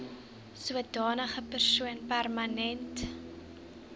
sodanige persoon permanent